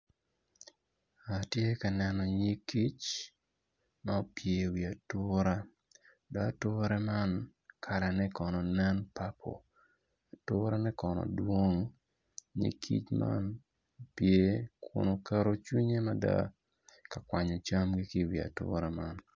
Atye ka neno nyig kic ma opye i wi atura do atura man kalane kono nen papo aturane kono dwong nyig kic man opye kun oketo cwinye mada ka kwanyo camgi ki iwi atura man